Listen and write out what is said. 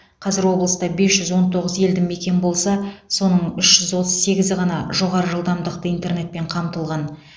қазір облыста бес жүз он тоғыз елді мекен болса соның үш жүз отыз сегізі ғана жоғары жылдамдықты интернетпен қамтылған